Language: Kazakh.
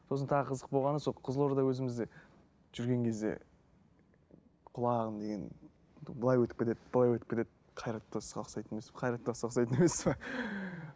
сосын тағы қызық болғаны сол қызылорда өзімізде жүрген кезде құлағым деген былай өтіп кетеді былай өтіп кетеді қайрат нұртасқа ұқсайтын емес пе қайрат нұртасқа ұқсайтын емес пе